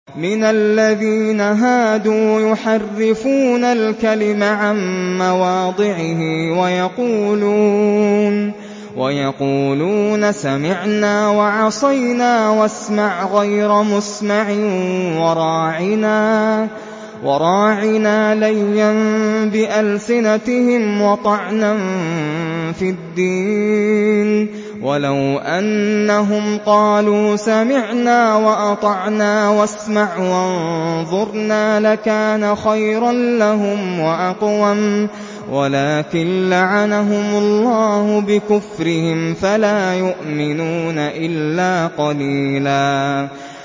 مِّنَ الَّذِينَ هَادُوا يُحَرِّفُونَ الْكَلِمَ عَن مَّوَاضِعِهِ وَيَقُولُونَ سَمِعْنَا وَعَصَيْنَا وَاسْمَعْ غَيْرَ مُسْمَعٍ وَرَاعِنَا لَيًّا بِأَلْسِنَتِهِمْ وَطَعْنًا فِي الدِّينِ ۚ وَلَوْ أَنَّهُمْ قَالُوا سَمِعْنَا وَأَطَعْنَا وَاسْمَعْ وَانظُرْنَا لَكَانَ خَيْرًا لَّهُمْ وَأَقْوَمَ وَلَٰكِن لَّعَنَهُمُ اللَّهُ بِكُفْرِهِمْ فَلَا يُؤْمِنُونَ إِلَّا قَلِيلًا